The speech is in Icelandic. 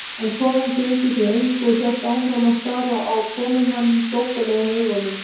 En konan gegndi því engu og hélt áfram að stara á komumann flóttalegum augum.